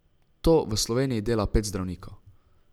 To v Sloveniji dela pet zdravnikov.